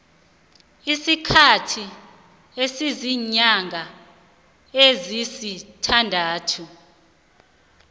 isikhathi esiziinyanga ezisithandathu